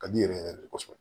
Ka di n yɛrɛ yɛrɛ de kɔsɔbɛ